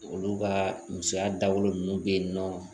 Olu ka musoya dabɔlen ninnu bɛ yen nɔ